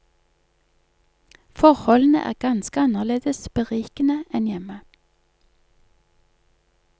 Forholdene er ganske annerledes berikende enn hjemme.